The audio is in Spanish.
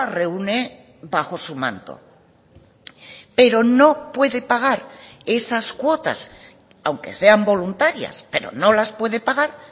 reúne bajo su manto pero no puede pagar esas cuotas aunque sean voluntarias pero no las puede pagar